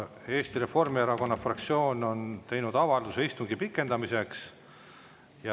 Eesti Reformierakonna fraktsioon on teinud avalduse istungi pikendamiseks.